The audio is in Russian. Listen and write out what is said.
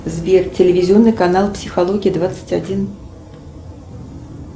сбер телевизионный канал психология двадцать один